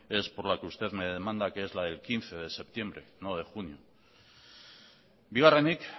es por la que usted me demanda que es la del quince de septiembre no de junio bigarrenik